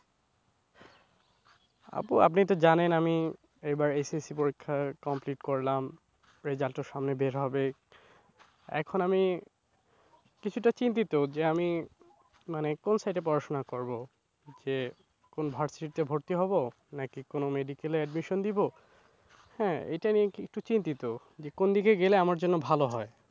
কোনো versity তে ভর্তি হবো নাকি কোনো medical এ admission দিব হ্যাঁ এটা নিয়ে কি একটু চিন্তিত যে কোন দিকে গেলে আমার জন্য ভালো হয়?